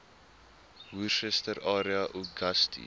worcester area uagasti